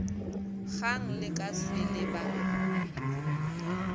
kgang le ka swele ba